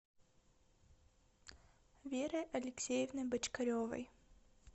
верой алексеевной бочкаревой